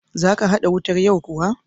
Za ka haɗa wutar yau kuwa?